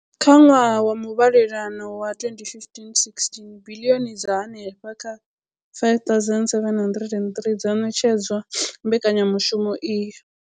Kha ṅwaha wa muvhalelano wa 2015, 16, biḽioni dza henefha kha R5 703 dzo ṋetshedzwa mbekanyamushumo iyi.